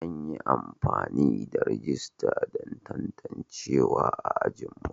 An yi amfani da rajista don tantancewa a ajinmu.